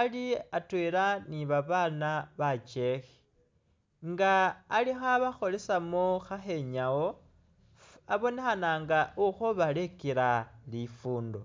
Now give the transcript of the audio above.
Ali atwela ni babaana bekyekhe nga alikhabakholesamo khakhenyawo, abonekhana nga ikhobalekela lifundo